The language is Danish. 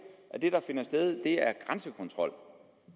at det der finder sted er grænsekontrol